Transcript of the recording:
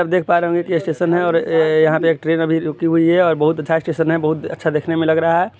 आप देख पा रहे होंगे के ये स्टेशन है और य यहाँ पे एक ट्रेन अभी रुकी हुई है और बहुत अच्छा स्टेशन है बहुत अच्छा देखने मे लग रहा है।